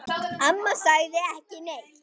Amma sagði ekki neitt.